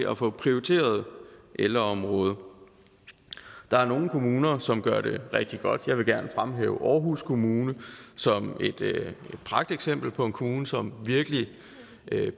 at få prioriteret ældreområdet der er nogle kommuner som gør det rigtig godt vil her gerne fremhæve aarhus kommune som et pragteksempel på en kommune som virkelig